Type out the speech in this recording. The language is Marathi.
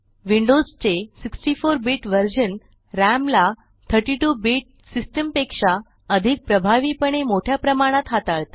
विंडोज चे 64 बीट वर्जन राम ला 32 बीट सिस्टम पेक्षा अधिक प्रभावीपणे मोठ्या प्रमाणात हाताळते